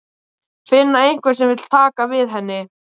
Finna einhvern sem vill taka við henni.